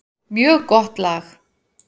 Mjög gott lag.